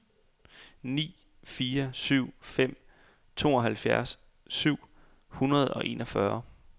ni fire syv fem tooghalvfems syv hundrede og enogfyrre